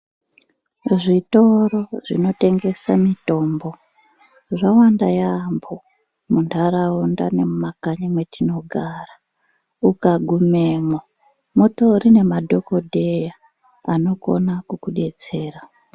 Zvitoro zvinotengese mitombo zvawanda yaampho ,muntaraunda nemumakanyi metinogara. Ukagumemwo mutori nemadhokodheya anokona kukudetsera.